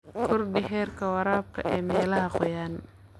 Kordhi heerka waraabka ee meelaha qoyan.